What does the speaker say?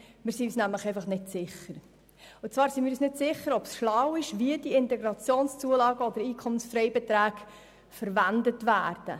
Wir sind uns nämlich einfach nicht sicher, ob es schlau ist, wie die IZU oder die EFB verwendet werden.